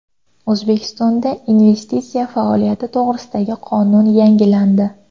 O‘zbekistonda investitsiya faoliyati to‘g‘risidagi qonun yangilandi.